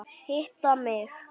Hitta mig?